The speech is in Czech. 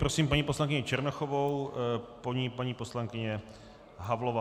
Prosím paní poslankyni Černochovou, po ní paní poslankyně Havlová.